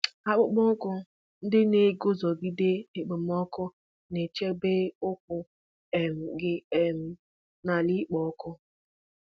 Akpụkpọ ụkwụ ndị na-eguzogide okpomọkụ na-echebe ụkwụ um gị um n’ala na-ekpo ọkụ.